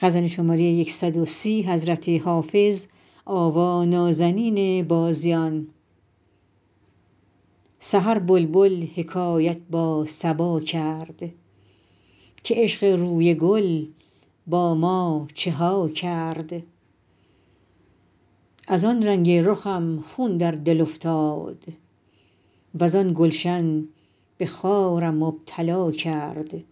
سحر بلبل حکایت با صبا کرد که عشق روی گل با ما چه ها کرد از آن رنگ رخم خون در دل افتاد وز آن گلشن به خارم مبتلا کرد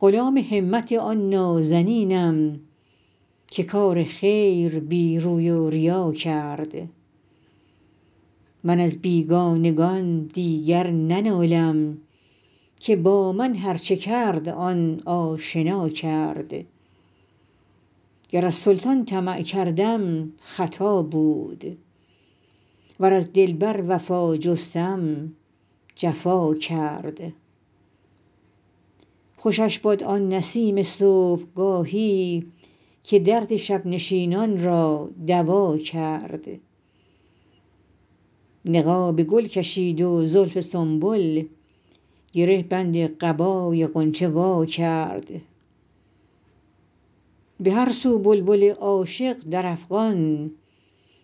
غلام همت آن نازنینم که کار خیر بی روی و ریا کرد من از بیگانگان دیگر ننالم که با من هرچه کرد آن آشنا کرد گر از سلطان طمع کردم خطا بود ور از دلبر وفا جستم جفا کرد خوشش باد آن نسیم صبحگاهی که درد شب نشینان را دوا کرد نقاب گل کشید و زلف سنبل گره بند قبای غنچه وا کرد به هر سو بلبل عاشق در افغان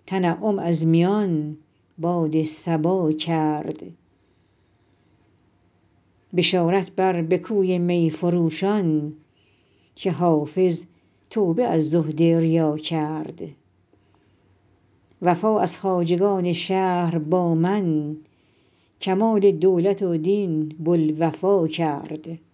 تنعم از میان باد صبا کرد بشارت بر به کوی می فروشان که حافظ توبه از زهد ریا کرد وفا از خواجگان شهر با من کمال دولت و دین بوالوفا کرد